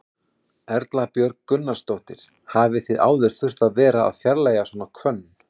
Erla Björg Gunnarsdóttir: Hafið þið áður þurft að vera að fjarlægja svona hvönn?